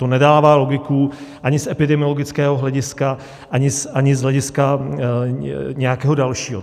To nedává logiku ani z epidemiologického hlediska, ani z hlediska nějakého dalšího.